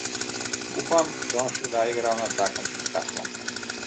Upam, da bom še kdaj igral na takem spektaklu.